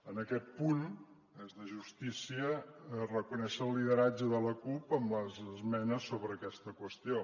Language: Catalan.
en aquest punt és de justícia reconèixer el lideratge de la cup amb les esmenes sobre aquesta qüestió